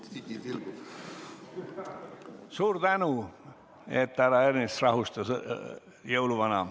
Väga hea, et härra Ernits rahustas jõuluvana.